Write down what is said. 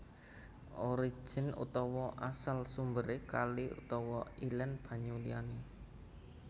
Origin utawa asal sumberé kali utawa ilén banyu liyané